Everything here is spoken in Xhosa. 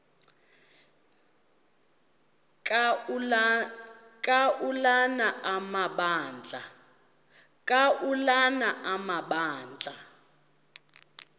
ka ulana amabandla